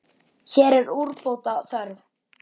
Hér er úrbóta þörf.